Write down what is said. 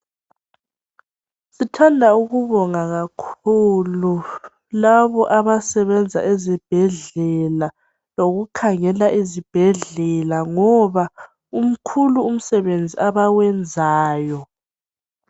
Sithanda ukubonga kakhulu labo abasebenza ezibhedlela lokukhangela izibhedlela ngoba umkhulu umsebenzi abawenzayo